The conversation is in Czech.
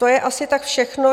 To je asi tak všechno.